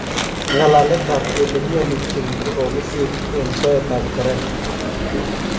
Ngalalet ab kele miani Kim ko kokisir en soet ab Korea